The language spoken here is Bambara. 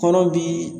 Kɔnɔ bi